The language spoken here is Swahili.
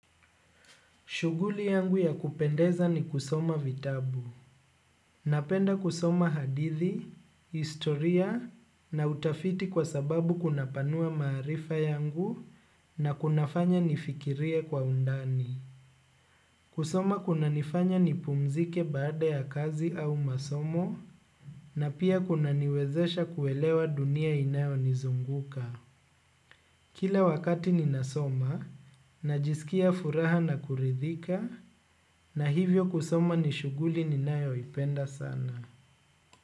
Shuguli yangu ya kupendeza ni kusoma vitabu. Napenda kusoma hadithi, istoria na utafiti kwa sababu kuna panua marifa yangu na kuna fanya nifikirie kwa undani. Kusoma kuna nifanya ni pumzike baada ya kazi au masomo na pia kuna niwezesha kuelewa dunia inayo nizunguka. Kila wakati ninasoma, najisikia furaha na kuridhika, na hivyo kusoma nishuguli ninayo ipenda sana.